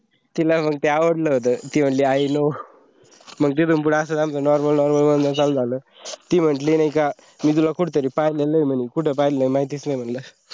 तिला मंग ते आवडल होत, ती मनली i know मग तिथून पुढं आमचा असंच normal normal बोलणं चालू झालं ती म्हंटली नाई का मी तुला कुठंतरी पाहले हई पण माहीत नाही कूट पाहले हई.